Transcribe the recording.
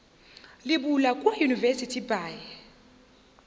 le bula kua university by